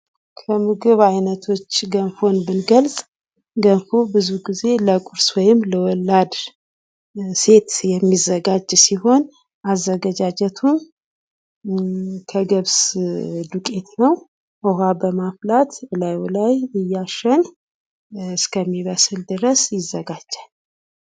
ከምግብ አይነቶች ገንፎን ብንገልጽ፡- ገንፎ ብዙ ግዜ ለቁርስ ወይም ለወላድ ሴት የሚዘጋጅ ሲሆን ፤ አዘገጃጀቱም ከገብስ ዱቄት ነው። ውሃ በማፍላት እላዩ ላይ እያሸን እስከሚበስል ድረስ ይዘጋጃል።